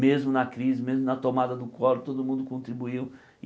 Mesmo na crise, mesmo na tomada do collor, todo mundo contribuiu.